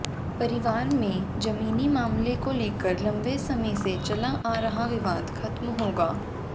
परिवार में जमीनी मामले को लेकर लंबे समय से चला आ रहा विवाद खत्म होगा